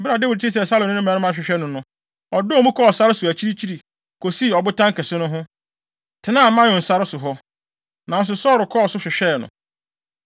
Bere a Dawid tee sɛ Saulo ne ne mmarima rehwehwɛ no no, ɔdɔɔ mu kɔɔ sare so akyirikyiri, kosii ɔbotan kɛse no ho, tenaa Maon sare so hɔ. Nanso Saulo kɔɔ so hwehwɛɛ no.